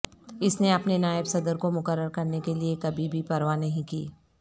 اس نے اپنے نائب صدر کو مقرر کرنے کے لئے کبھی بھی پرواہ نہیں کی